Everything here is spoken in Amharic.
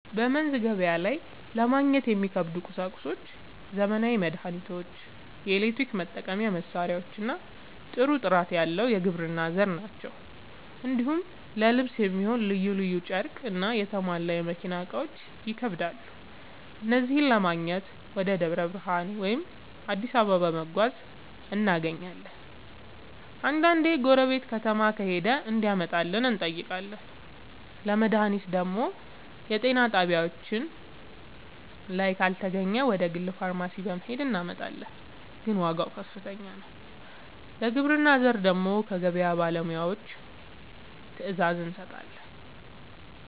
በመንዝ ገበያ ላይ ለማግኘት የሚከብዱ ቁሳቁሶች ዘመናዊ መድሃኒቶች፣ የኤሌክትሪክ መጠቀሚያ መሳሪያዎችና ጥሩ ጥራት ያለው የግብርና ᛢል ናቸው። እንዲሁም ለልብስ የሚሆን ልዩ ልዩ ጨርቅና የተሟላ የመኪና እቃዎች ይከብዳሉ። እነዚህን ለማግኘት ወደ ደብረ ብርሃን ወይም አዲስ አበባ በመጓዝ እናገኛለን፤ አንዳንዴ ጎረቤት ከተማ ከሄደ እንዲያመጣልን እንጠይቃለን። ለመድሃኒት ደግሞ የጤና ጣቢያችን ላይ ካልተገኘ ወደ ግል ፋርማሲ በመሄድ እናመጣለን፤ ግን ዋጋው ከፍተኛ ነው። ለግብርና ዘር ደግሞ ከገበያ ባለሙያዎች ትዕዛዝ እንሰጣለን።